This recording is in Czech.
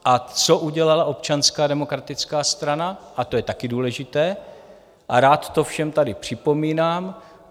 A co udělala Občanská demokratická strana - a to je taky důležité a rád to všem tady připomínám?